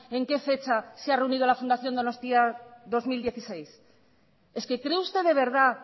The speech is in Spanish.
en qué fecha se ha reunido la fundación donostia dos mil dieciséis es que cree usted de verdad